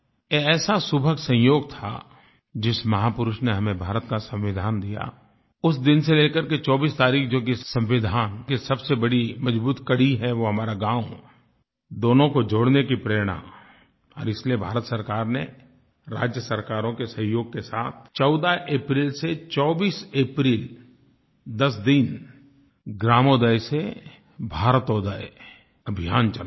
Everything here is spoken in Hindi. ये ऐसा सुभग संयोग था जिस महापुरुष ने हमें भारत का संविधान दिया उस दिन से लेकर के 24 तारीख़ जो कि संविधान की सबसे बड़ी मजबूत कड़ी है वो हमारा गाँव दोनों को जोड़ने की प्रेरणा और इसलिए भारत सरकार ने राज्य सरकारों के सहयोग के साथ 14 अप्रैल से 24 अप्रैल 10 दिन ग्रामोदय से भारतोदय अभियान चलाया